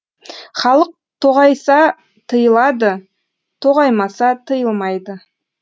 халық тоғайса тыйылады тоғаймаса тиылмайды